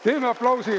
Teeme aplausi!